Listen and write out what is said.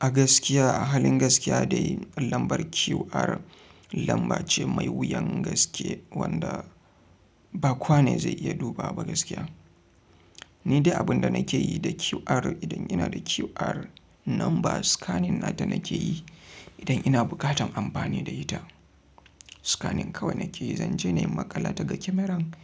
A gaskiya, a halin gaskiya dai lambar QR lamba ce mai wuyan gaske wanda ba kowane zai iya duba ba gaskiya. Ni dai abin da nake yi da QR idan ina da QR number scanning na da nake yi idan ina bukatan amfani da ita. Scanning kawai nake yi, zan je ne in maƙala ta da kyameran